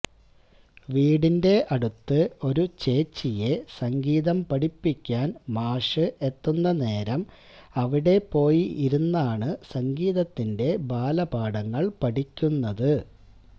വീടിന്റെ അടുത്ത് ഒരു ചേച്ചിയെ സംഗീതം പഠിപ്പിക്കാൻ മാഷ് എത്തുന്ന നേരം അവിടെ പോയി ഇരുന്നാണ് സംഗീതത്തിന്റെ ബാലപാഠങ്ങൾ പഠിക്കുന്നത്